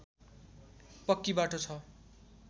पक्की बाटो छ